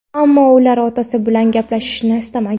Ammo ular otasi bilan gaplashishni istamagan.